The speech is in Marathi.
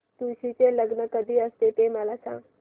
तुळशी चे लग्न कधी असते ते मला सांग